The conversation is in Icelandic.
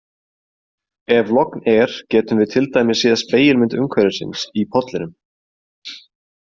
Ef logn er getum við til dæmis séð spegilmynd umhverfisins í pollinum.